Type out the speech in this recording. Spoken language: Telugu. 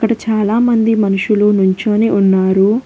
అటు చాలామంది మనుషులు నుంచోని ఉన్నారు.